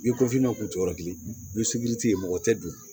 N'i ko finna k'u to yɔrɔ kelen ni ye mɔgɔ tɛ dun